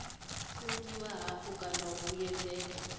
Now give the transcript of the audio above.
fungiwa hafhu kana u vhuyedzedzwa